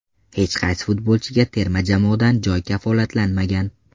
Hech qaysi futbolchiga terma jamoadan joy kafolatlanmagan.